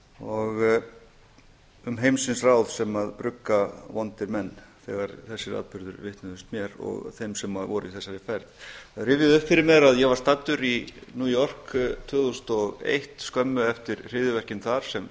og um heimsins ráð sem brugga vondir menn þegar þessir atburðir vitnuðust mér og þeim sem voru í þessari ferð það rifjaðist upp fyrir mér að ég var staddur í new york tvö þúsund og eitt skömmu eftir hryðjuverkin þar sem